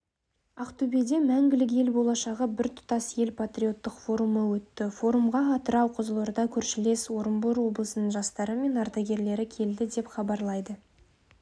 ақтөбеде мәңгілік ел болашағы біртұтас ел патриоттық форумы өтті форумға атырау қызылорда көршілес орынбор облысының жастары мен ардагерлері келді деп хабарлайды